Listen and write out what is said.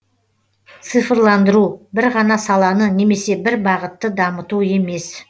цифрландыру бір ғана саланы немесе бір бағытты дамыту емес